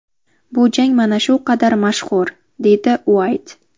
Bu jang mana shu qadar mashhur”, deydi Uayt.